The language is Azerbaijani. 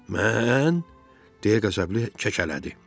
Mən? - deyə qəzəbli kəkələdi.